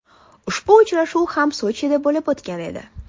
Ushbu uchrashuv ham Sochida bo‘lib o‘tgan edi.